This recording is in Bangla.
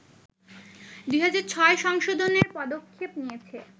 ২০০৬ সংশোধনের পদক্ষেপ নিয়েছে